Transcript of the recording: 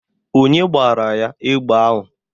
Onye gbara ya egbe ahụ?